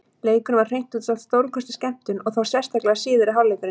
Leikurinn var hreint út sagt stórkostleg skemmtun, og þá sérstaklega síðari hálfleikurinn.